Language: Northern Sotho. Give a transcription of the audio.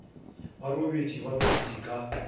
ba robetše ba robetše ka